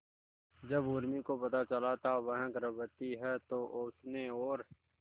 जब उर्मी को पता चला था वह गर्भवती है तो उसने और